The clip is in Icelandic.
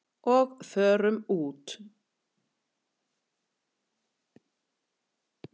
Og förum úr.